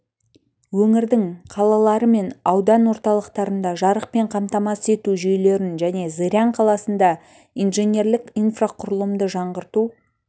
өңірдің қалалары мен аудан орталықтарында жарықпен қамтамасыз ету жүйелерін және зырян қаласында инженерлік инфрақұрылымды жаңғырту